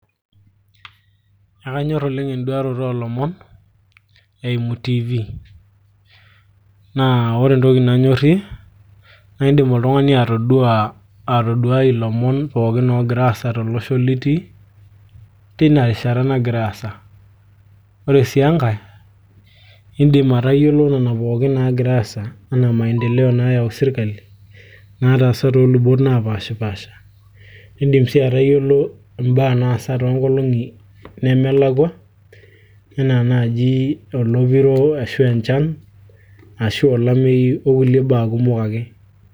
ekanyorr oleng enduaroto oolomon eimu tv naa ore entoki nanyorrie naa indim oltung'ani atodua, atoduai ilomon pookin oogira aasa tolosho litii tina rishata nagira aasa ore sii enkay indim atayiolo nana pookin naagira aasa anaa maendeleo naayau sirkali nataasa toolubot napaashipasha indim sii atayiolo imbaa naasa toonkolong'i nemelakua ena naaji olopiro ashu enchan ashu olameyu okulie baa kumok ake.